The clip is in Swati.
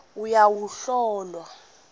uyowuhlolwa